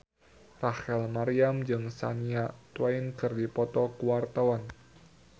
Rachel Maryam jeung Shania Twain keur dipoto ku wartawan